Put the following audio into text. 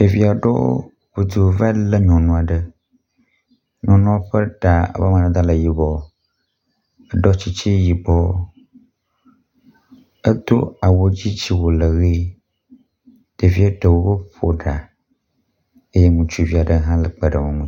Ɖevi aɖewo ŋudu va le nyɔnu aɖe. nyɔnua ƒe ta ƒe amadede le yibɔ eɖɔ tsitsi yibɔ edo awu dzi tsiwu le ʋi. Ɖevia ɖewo ƒo ɖa eye ŋutsuvi aɖe hã le kpe ɖe wo ŋu.